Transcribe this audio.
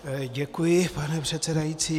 Děkuji, pane předsedající.